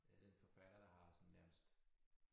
Er den forfatter der har sådan nærmest